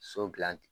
So gilan